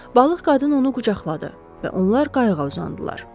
Balıq qadın onu qucaqladı və onlar qayığa uzandılar.